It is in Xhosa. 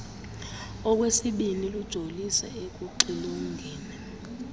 okwesibini lujolise ekuxilongeni